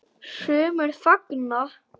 Sumir fagna.